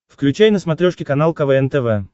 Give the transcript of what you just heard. включай на смотрешке канал квн тв